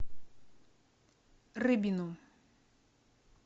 рыбину